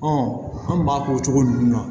an b'a k'o cogo ninnu na